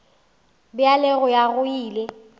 bja go ya go ile